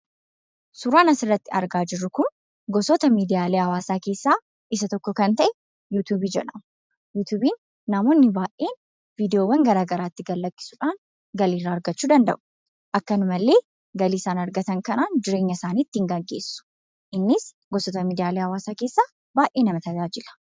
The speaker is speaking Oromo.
Suuraan asirratti argaa jirru kun gosoota miidiyaalee hawaasaa keessaa isa tokko kan ta'e 'Youtube' jedhama. 'Youtube'n namoonni baay'een viidiyoolee garaa garaa itti gad-lakkisuudhaan galii irraa argachuu danda'u. Akkasuma illee galii isaan argatan kanaan jiruu isaanii ittiin gaggeessu. Innis gosoota miidiyaalee hawaasaa keessaa baay'ee nama tajaajila.